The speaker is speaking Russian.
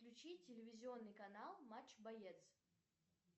включи телевизионный канал матч боец